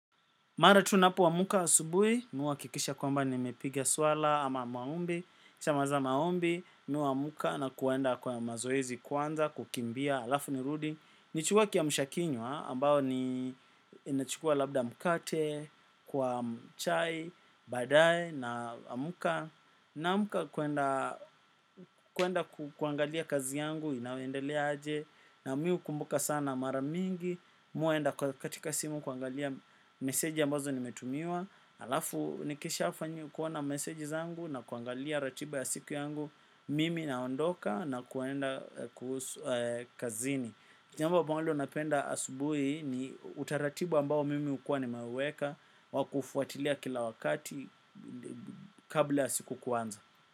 Mara tu napoamka asubuhi, mi huhakikisha kwamba nimepiga swala ama maombi, nikishamaliza maombi, mi huamka na kuenda kwa mazoezi kwanza, kukimbia, halafu nirudi. Nichukue kiamsha kinywa ambayo ni inachukua labda mkate kwa chai, badae naamka. Naamka kuenda kuangalia kazi yangu inaendelea aje. Na mi hukumbuka sana mara mingi huwa naenda katika simu kuangalia meseji ambazo nimetumiwa. Alafu nikisha fanya kuona meseji zangu na kuangalia ratiba ya siku yangu. Mimi naondoka na kuenda kuhusu kazini. Jambo ambalo napenda asubuhi ni utaratibu ambao mimi hukuwa nimeuweka wa kufuatilia kila wakati kabla siku kuanza.